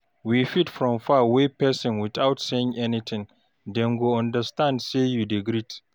We fit from far wave person without saying anything, dem go understand sey you dey greet